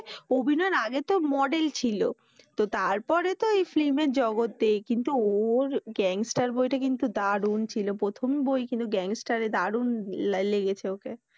অভিনয়ের আগে তো মডেল ছিল। তো তারপরে তো film এর জগতে কিন্তু ওর gangster বইটা কিন্তু দারুণ ছিল। প্রথম বই কিন্তু gangster এ দারুণ লাই লেগেছে ওকে।